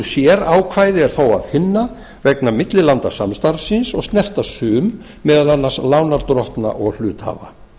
sérákvæði er þó að finna vegna millilandasamstarfsins og snerta sum meðal annars lánardrottna og hluthafa